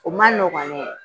U man nɔgɔ dɛ.